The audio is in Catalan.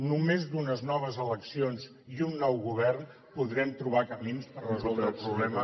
només d’unes noves eleccions i amb un nou govern podrem trobar camins per resoldre el problema